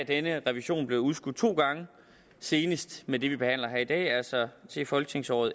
denne revision blevet udskudt to gange senest med det vi behandler her i dag altså til folketingsåret